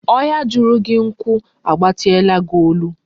Ohia juru gi nku a gbatiala gi olu